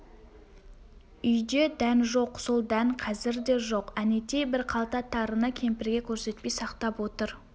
үйде дән жоқ сол дән қазір де жоқ әнетей бір қалта тарыны кемпірге көрсетпей сақтап отыр